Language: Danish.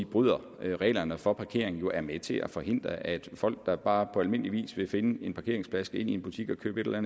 bryder reglerne for parkering jo er med til at forhindre at folk der bare på almindeligvis vil finde en parkeringsplads skal ind i en butik og købe et eller